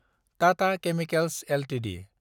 Tata chemicals Ltd